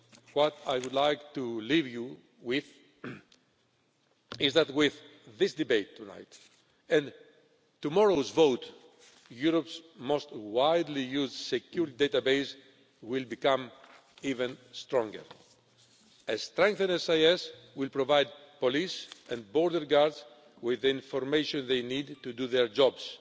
What I would like to leave you with is that, with this debate tonight and tomorrow's vote, Europe's most widely used secure database will become even stronger. A strengthened SIS will provide police and border guards with the information they need to do their